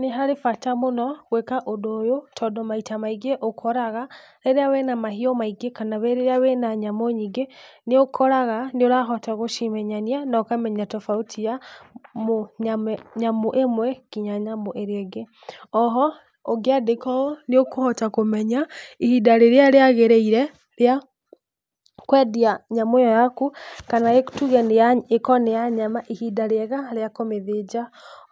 Nĩ harĩ bata mũno gwĩka ũndũ ũyũ tondũ maita maingĩ ũkoraga rĩrĩa wĩna mahiũ maingĩ kana, rĩrĩa wĩna nyamũ nyingĩ nĩ ũkoraga nĩ ũrahota gũcimenyania na ũkamenya tofauti ya nyũ ĩmwe nginya ĩrĩa ĩngĩ, o ho ũngĩandĩka ũũ nĩ ũhota kũmenya ihinda rĩrĩa rĩa gĩarĩire rĩa kwendia nyamũ ĩyo yaku kana nĩ tuge ĩkorwo nĩ ya nyama, ihinda rĩega rĩa kũmĩthĩnja,